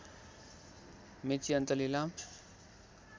मेची अञ्चल इलाम